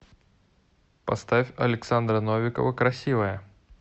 поставь александра новикова красивая